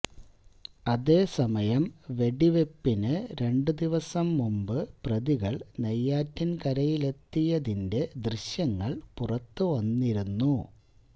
അതേസമയം വെടിവയ്പ്പിന് രണ്ട് ദിവസം മുമ്പ് പ്രതികൾ നെയ്യാറ്റിൻകരയിലെത്തിയതിന്റെ ദൃശ്യങ്ങള് പുറത്തുവന്നിരുന്നു